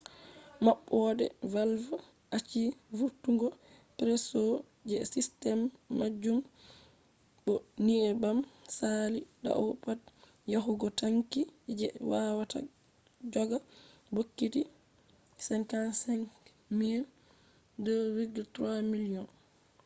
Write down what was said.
maɓɓode valv achi vurtungo presso je sistem majum bo nyebbam saali dau pad yahugo tanki je wawata joga bokiti 55,000 2.3 miliyon